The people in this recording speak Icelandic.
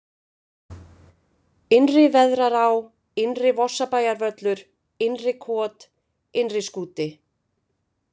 Innri-Veðrará, Innri-Vorsabæjarvöllur, Innri-kot, Innriskúti